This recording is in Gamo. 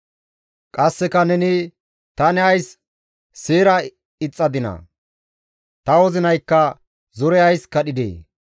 Qasseka neni, «Tani ays seera ixxadinaa! Ta wozinaykka zore ays kadhidee!